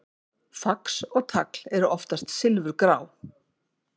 fax og tagl eru oftast silfurgrá